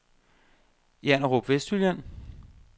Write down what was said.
Janderup Vestjylland